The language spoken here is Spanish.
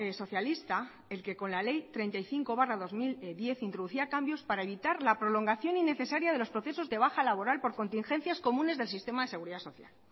socialista el que con la ley treinta y cinco barra dos mil diez introducía cambios para evitar la prolongación innecesaria de los procesos de baja laboral por contingencias comunes del sistema de seguridad social